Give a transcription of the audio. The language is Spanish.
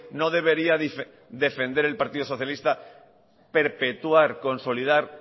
no debería defender el partido socialista perpetuar consolidar